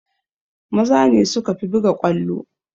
Maza ne sukafi buga ƙwallo